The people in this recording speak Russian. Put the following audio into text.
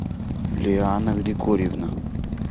лиана григорьевна